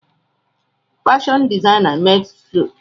Fashion designers makes clothes.